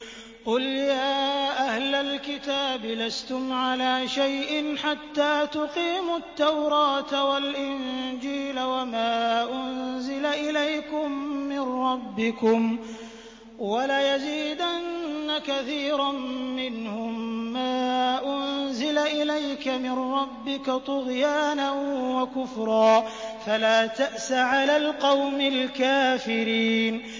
قُلْ يَا أَهْلَ الْكِتَابِ لَسْتُمْ عَلَىٰ شَيْءٍ حَتَّىٰ تُقِيمُوا التَّوْرَاةَ وَالْإِنجِيلَ وَمَا أُنزِلَ إِلَيْكُم مِّن رَّبِّكُمْ ۗ وَلَيَزِيدَنَّ كَثِيرًا مِّنْهُم مَّا أُنزِلَ إِلَيْكَ مِن رَّبِّكَ طُغْيَانًا وَكُفْرًا ۖ فَلَا تَأْسَ عَلَى الْقَوْمِ الْكَافِرِينَ